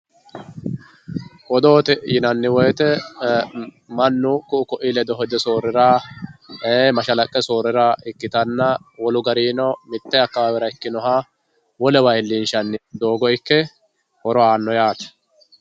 Odoote yinanni woyte mannu ku"u koi ledo hedo soorira mashalaqqe soorira ikkittanna wolu garinino mite akawawera ikkinoha wolewa iillinshanni doogo ikke horo aano yaate.